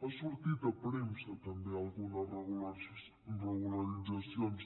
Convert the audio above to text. han sortit a premsa també algunes regularitzacions